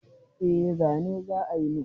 Eh zane za a yi min.